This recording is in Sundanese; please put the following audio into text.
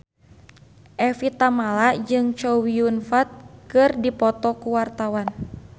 Evie Tamala jeung Chow Yun Fat keur dipoto ku wartawan